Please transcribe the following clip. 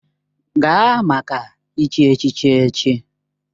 Gaa maka ịchi echichi echi!